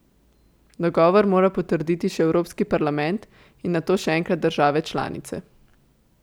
Dogovor mora potrditi še Evropski parlament in nato še enkrat države članice.